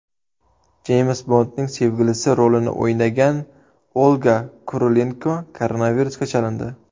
Jeyms Bondning sevgilisi rolini o‘ynagan Olga Kurilenko koronavirusga chalindi.